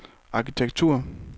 arkitektur